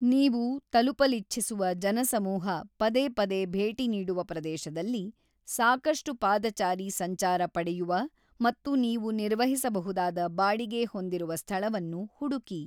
ನೀವು ತಲುಪಲಿಚ್ಛಿಸುವ ಜನಸಮೂಹ ಪದೇಪದೇ ಭೇಟಿ ನೀಡುವ ಪ್ರದೇಶದಲ್ಲಿ, ಸಾಕಷ್ಟು ಪಾದಚಾರಿ ಸಂಚಾರ ಪಡೆಯುವ ಮತ್ತು ನೀವು ನಿರ್ವಹಿಸಬಹುದಾದ ಬಾಡಿಗೆ ಹೊಂದಿರುವ ಸ್ಥಳವನ್ನು ಹುಡುಕಿ.